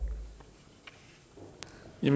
i